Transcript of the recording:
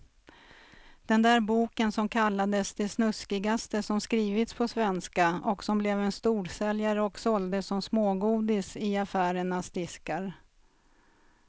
Den där boken som kallades det snuskigaste som skrivits på svenska och som blev en storsäljare och såldes som smågodis i affärernas diskar.